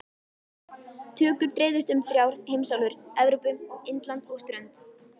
Tökur dreifðust um þrjár heimsálfur- Evrópu, Indland og strönd